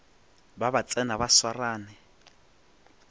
ba ba tsena ba swarane